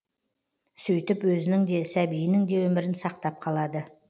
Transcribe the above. сөйтіп өзінің де сәбиінің де өмірін сақтап қалады